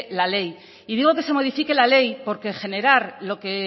la ley y digo que se modifique la ley porque generar lo que